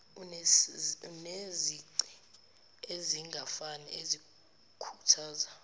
enezici ezingafani ezikhuthaza